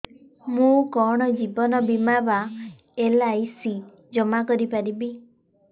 ମୁ କଣ ଜୀବନ ବୀମା ବା ଏଲ୍.ଆଇ.ସି ଜମା କରି ପାରିବି